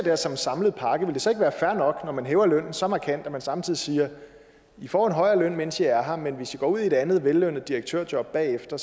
her som en samlet pakke vil det så ikke være fair nok når man hæver lønnen så markant at man samtidig siger i får en højere løn mens i er her men hvis i går ud i et andet vellønnet direktørjob bagefter